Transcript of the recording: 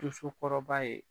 Dosokɔrɔba ye